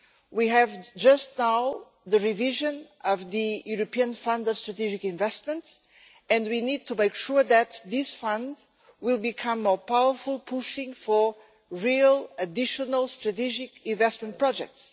We have just now the revision of the European Fund for Strategic Investments and we need to make sure that this fund will become more powerful, pushing for real, additional, strategic investment projects.